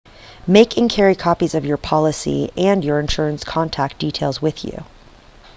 make and carry copies of your policy and your insurer's contact details with you